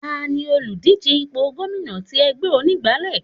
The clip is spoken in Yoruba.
Tani òlùdíje ipò gómìnà tí ẹgbẹ́ onígbálé?